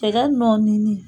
Tɛgɛ nɔɔnnini